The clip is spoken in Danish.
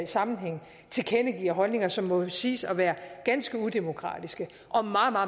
sammenhænge tilkendegiver holdninger som må siges at være ganske udemokratiske og meget